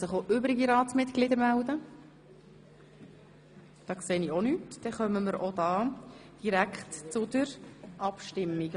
– Das ist nicht der Fall, und wir können auch hier gleich zur Abstimmung kommen.